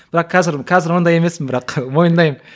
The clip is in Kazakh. бірақ қазір қазір ондай емеспін бірақ мойындаймын